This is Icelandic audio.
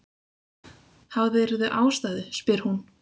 Hafðirðu ástæðu, spyr hún.